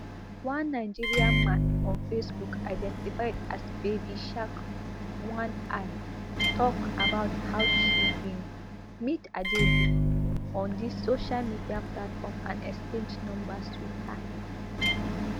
one nigerian man on facebook identified as babysharkonei tok about how she bin meet adaidu on di social media platform and exchange numbers wit her